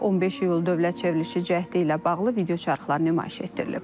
Sonra 15 iyul dövlət çevrilişi cəhdi ilə bağlı videoçarxlar nümayiş etdirilib.